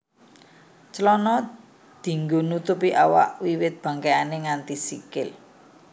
Clana dianggo nutupi awak wiwit bangkékan nganti sikil